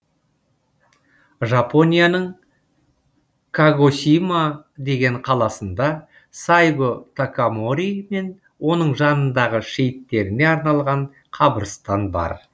жапонияның кагосима деген қаласында сайго такамори мен оның жанындағы шейттеріне арналған қабырстан бар